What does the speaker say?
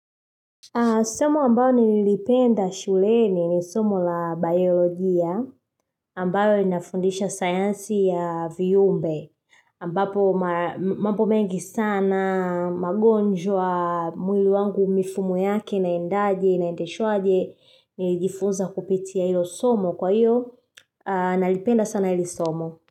Somo ambalo nilipenda shuleni ni somo la biologia ambayo inafundisha sayansi ya vyumbe ambapo mambo mengi sana magonjwa mwili wangu mifumo yake inaendaje nainadeshwaje nilijifunza kupitia ilo somo kwa iyo nalipenda sana ili somo.